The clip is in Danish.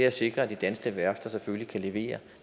at sikre at de danske værfter selvfølgelig kan levere